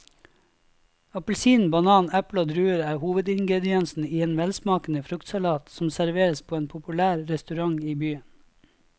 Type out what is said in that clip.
Appelsin, banan, eple og druer er hovedingredienser i en velsmakende fruktsalat som serveres på en populær restaurant i byen.